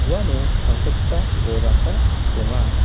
uano tangsekgipa bolrangba donga.